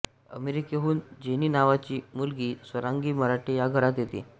अमेरिकेहून Jenny नावाची मुलगी स्वरांगी मराठे या घरात येते